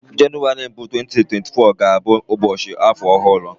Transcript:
Jenụwarị mbụ 2024 ga-abụ ụbọchị afọ ọhụrụ